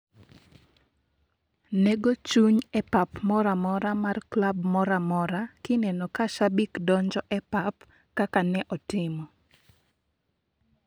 Nego chuny e pap moramora mar klab mora mora kineno ka shabik donjo e pap kaka ne otimo.